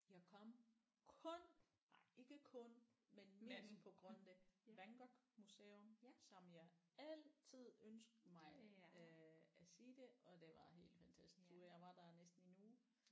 Jeg kom kun nej ikke kun men mest på grund af det Van Gogh museum som jeg altid ønskede mig øh at se det og det var helt fantastisk du jeg var der næsten en uge